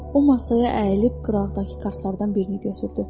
O masaya əyilib qıraqdakı kartlardan birini götürdü.